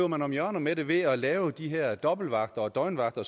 man om hjørner med det ved at lave de her dobbeltvagter og døgnvagter